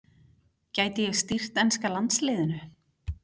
Gæti ég stýrt enska landsliðinu?